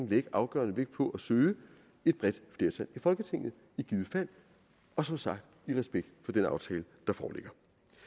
lægge afgørende vægt på at søge et bredt flertal i folketinget og som sagt i respekt for den aftale der foreligger